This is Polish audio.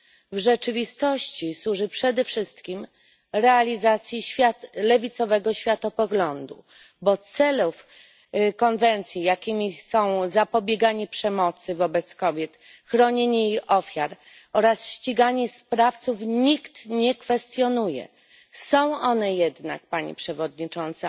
W rzeczywistości służy przede wszystkim realizacji lewicowego światopoglądu, bo celów konwencji, jakimi są zapobieganie przemocy wobec kobiet, chronienie jej ofiar oraz ściganie sprawców, nikt nie kwestionuje. Są one jednak, Pani Przewodnicząca,